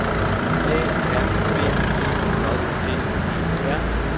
A R B E J D E R